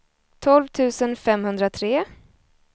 tolv tusen femhundratre